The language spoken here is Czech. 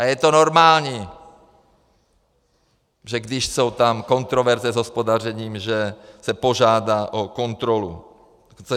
A je to normální, že když jsou tam kontroverze s hospodařením, že se požádá o kontrolu.